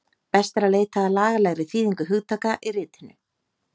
Best er að leita að lagalegri þýðingu hugtaka í ritinu